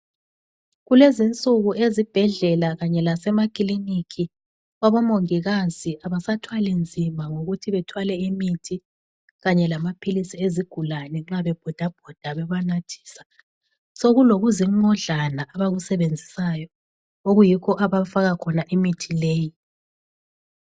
Kulezinsuku ezibhedlela kanye lasemakiliniki, abomongikazi kabasathwali nzima ngokuthi bethwale imithi, kanye lamaphilisi ezigulane nxa bebhodabhoda bebanathisa. Sokulokuzinqodlana abakusebenzisayo, okuyikho abafaka khona imithi leyi.